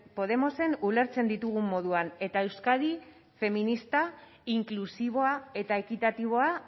podemosen ulertzen ditugun moduan eta euskadi feminista inklusiboa eta ekitatiboa